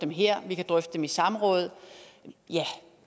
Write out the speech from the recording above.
dem her vi kan drøfte dem i samråd ja